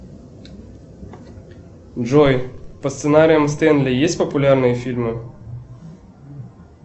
джой по сценариям стэнли есть популярные фильмы